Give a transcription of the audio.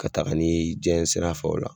Ka taga ni y'i janɲɛ sira fɛ o la.